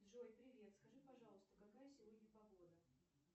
джой привет скажи пожалуйста какая сегодня погода